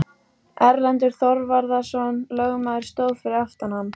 Erlendur Þorvarðarson lögmaður stóð fyrir aftan hann.